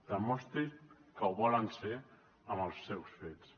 demostrin que ho volen ser amb els seus fets